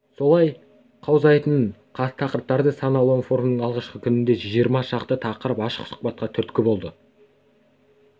солай қаузайтын тақырыптары сан алуан форумның алғашқы күнінде жиырма шақты тақырып ашық сұхбатқа түрткі болды